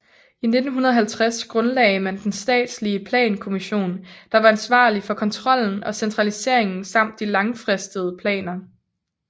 I 1950 grundlagde man den statslige plankommissionen der var ansvarlig for kontrollen og centraliseringen samt de langfristede planer